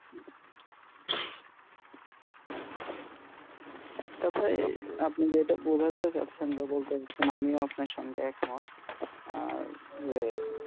একটা তে আপনি যেটা বোঝাতে চাচ্ছেন বা বলতে চাইছেন আমিও আপনার সঙ্গে একমত যে